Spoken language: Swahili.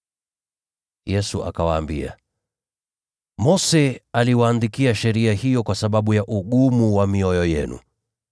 Yesu akawaambia, “Mose aliwaandikia sheria hiyo kwa sababu ya ugumu wa mioyo yenu.